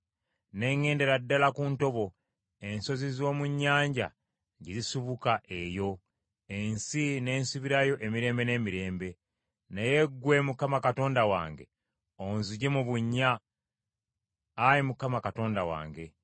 Ne ŋŋendera ddala ku ntobo, ensozi z’omu nnyanja gye zisibuka, eyo, ensi n’ensibirayo emirembe n’emirembe. Naye ggwe Mukama Katonda wange, onzigye mu bunnya, Ayi Mukama Katonda wange.